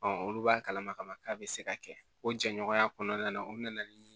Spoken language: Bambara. olu b'a kalama ka ban k'a bɛ se ka kɛ o jɛɲɔgɔnya kɔnɔna na o bɛ na ni